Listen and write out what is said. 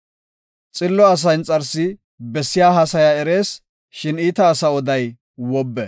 Xillo asa inxarsi bessiya haasaya erees; shin iita asaa oday wobbe.